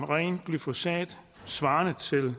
ren glyfosat svarende til